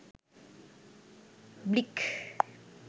blic